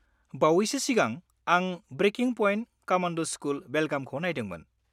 -बावैसो सिगां आं 'ब्रेकिं पइन्ट: कमान्ड' स्कुल, बेलगाम'खौ नायदोंमोन।